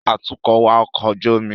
Atukọ̀ wa ọkọ̀ ojú omi